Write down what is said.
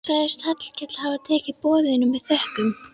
Sagðist Hallkell hafa tekið boðinu með þökkum.